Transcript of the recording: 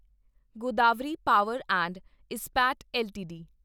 Godavari power and Ispat LTD